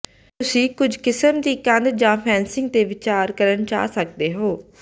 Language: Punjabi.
ਤੁਸੀਂ ਕੁਝ ਕਿਸਮ ਦੀ ਕੰਧ ਜਾਂ ਫੈਂਸਿੰਗ ਤੇ ਵਿਚਾਰ ਕਰਨਾ ਚਾਹ ਸਕਦੇ ਹੋ